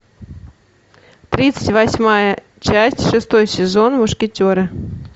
тридцать восьмая часть шестой сезон мушкетеры